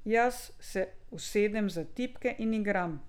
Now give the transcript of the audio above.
Jaz se usedem za tipke in igram.